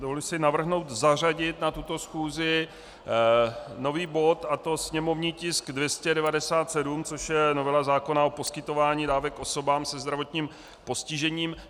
Dovoluji si navrhnout zařadit na tuto schůzi nový bod, a to sněmovní tisk 297, což je novela zákona o poskytování dávek osobám se zdravotním postižením.